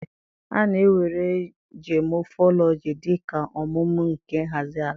A na-éwèré geomorphology dị ka ọmụmụ nke nhazi àlà